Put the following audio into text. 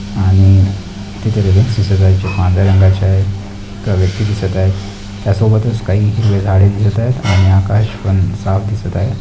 आणि तिथे पांढऱ्या रंगाचे आहे एक व्यक्ती दिसत आहे त्यासोबतच काही झाडे दिसत आहे आणि आकाश पण साफ दिसत आहे.